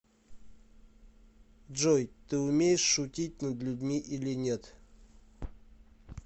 джой ты умеешь шутить над людьми или нет